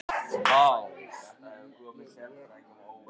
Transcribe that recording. Hemmi, hvað er opið lengi á sunnudaginn?